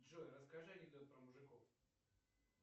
джой расскажи анекдот про мужиков